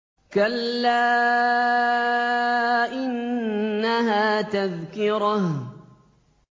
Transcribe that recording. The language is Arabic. كَلَّا إِنَّهَا تَذْكِرَةٌ